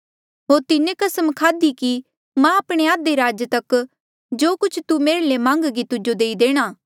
होर तिन्हें कसम खाध्ही कि मां आपणे आधे राज तक जो कुछ तू मेरे ले मान्घगी तुजो देई देणा